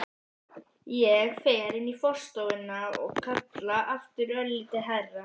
Ég fer inn í forstofuna og kalla aftur, örlítið hærra.